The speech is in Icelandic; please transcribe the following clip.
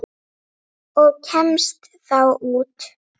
Og kemstu þá út?